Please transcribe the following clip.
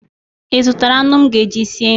Ị zụtara anụ m ga-eji sie nri?